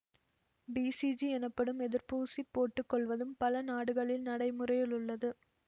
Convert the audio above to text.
BCG எனப்படும் எதிர்ப்பூசி போட்டு கொள்வதும் பல நாடுகளில் நடை முறையிலுள்ளது